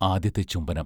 ആദ്യത്തെ ചുംബനം......